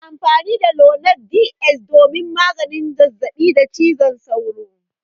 Ana amfani da lonart DS don magance zazzabin cizon sauro